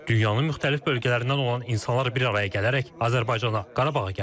Dünyanın müxtəlif bölgələrindən olan insanlar bir araya gələrək Azərbaycana, Qarabağa gəliblər.